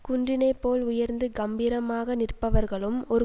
குன்றினைப் போல் உயர்ந்து கம்பீரமாக நிற்பவர்களும் ஒரு